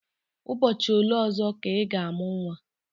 Ụbọchị ole ọzọ ka ị ga-amụ nwa?